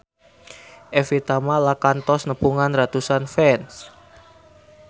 Evie Tamala kantos nepungan ratusan fans